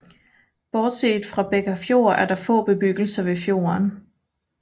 Bortset fra Bekkarfjord er der få bebyggelser ved fjorden